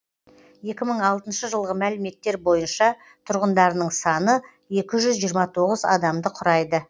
екі мың алтыншы жылғы мәліметтер бойынша тұрғындарының саны екі жүз жиырма тоғыз адамды құрайды